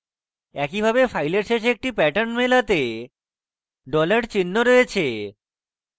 একইভাবে file শেষে একটি pattern মেলাতে dollar চিহ্ন রয়েছে